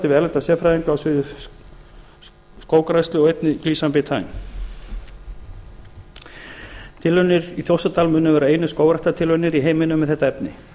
við erlenda sérfræðinga á sviði skóggræðslu og einnig glycine betaine tilraunirnar í þjórsárdal munu vera einu skógræktartilraunir í heiminum með þetta efni